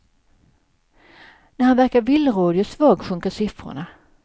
När han verkar villrådig och svag sjunker siffrorna.